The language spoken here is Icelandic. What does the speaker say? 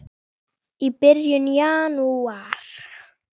Heyló syngur sumarið inn